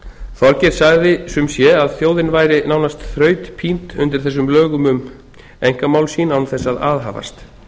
þorgeir sagði sumsé að þjóðin væri nánast þrautpínd undir þessum lögum um einkamál sín án þess að aðhafast